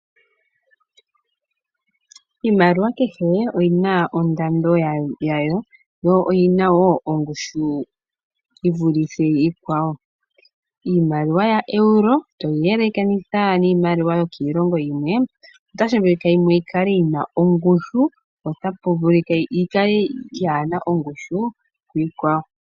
Iimaliwa kehe oyina ondando yawo yo oyina wo ongushu yi vulithe iikwawo. Iimaliwa yaEuro toyi yelekanitha niimaliwa yokiilongo yimwe otashi vulika yimwe yi kale yina ongushu po otapu vulika yimwe yi kale yaana ongushu kiikwawo.